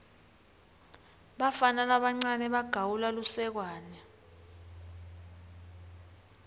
bafana labancane bagawula lusekwane